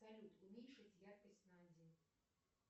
салют уменьшить яркость на один